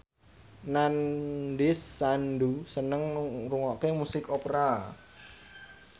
Nandish Sandhu seneng ngrungokne musik opera